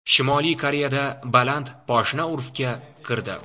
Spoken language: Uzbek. Shimoliy Koreyada baland poshna urfga kirdi.